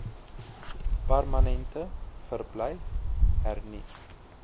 permanente verblyf hernu